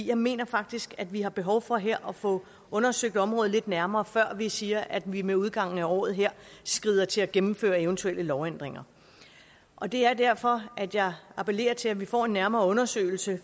jeg mener faktisk at vi har behov for her at få undersøgt området lidt nærmere før vi siger at vi med udgangen af året skrider til at gennemføre eventuelle lovændringer og det er derfor jeg appellerer til at vi får en nærmere undersøgelse